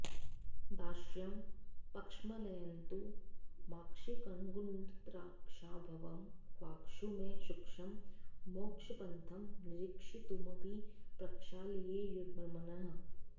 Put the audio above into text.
दाक्ष्यं पक्ष्मलयन्तु माक्षिकगुडद्राक्षाभवं वाक्षु मे सूक्ष्मं मोक्षपथं निरीक्षितुमपि प्रक्षालयेयुर्मनः